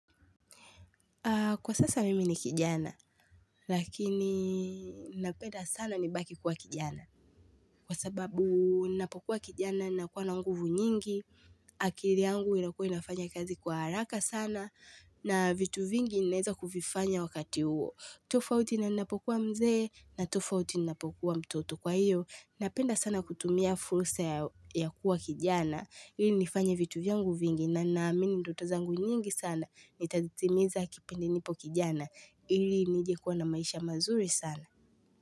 Kwa sasa mimi ni kijana, lakini napenda sana nibaki kuwa kijana, kwa sababu napokuwa kijana nakuwa na nguvu nyingi, akili yangu inakua inafanya kazi kwa haraka sana, na vitu vingi ninaweza kuvifanya wakati huo. Tofauti na ninapokuwa mzee na tofauti ninapokuwa mtoto kwa hiyo. Napenda sana kutumia fursa ya kuwa kijana. Ili nifanye vitu vyangu vingi na naamini ndoto zangu nyingi sana. Nitazitimiza kipindi nipo kijana. Ili nijekuwa na maisha mazuri sana.